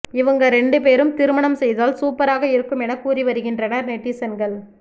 இவங்க ரெண்டு பேரும் திருமணம் செய்தால் சூப்பராக இருக்கும் என கூறி வருகின்றனர் நெட்டிசன்கள்